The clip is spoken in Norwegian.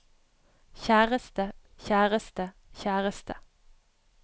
kjæreste kjæreste kjæreste